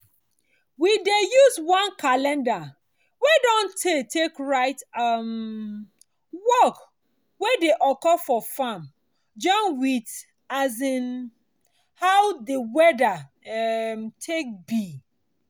we dey use one calendar wey don tey take write um work wey dey occur for farm join with um as how di weadir um take be.